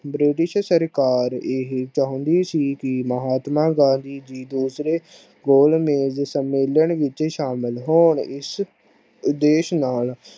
british ਸਰਕਾਰ ਇਹ ਚਾਹੁੰਦੀ ਸੀ। ਕਿ ਮਹਾਤਮਾ ਗਾਂਧੀ ਜੀ ਦੁਸ਼ਰੇ ਗੋਲ news ਸੰਮੇਲਨ ਵਿਚ ਸ਼ਾਮਿਲ ਹੋਣ ਇਸ਼ ਉਦੇਸ਼ ਨਾਲ